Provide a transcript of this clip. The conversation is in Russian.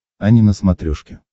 ани на смотрешке